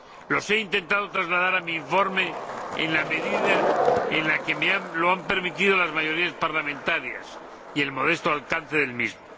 Los he intentado trasladar a mi informe en la medida en que me lo han permitido las mayorías parlamentarias y el modesto alcance del mismo.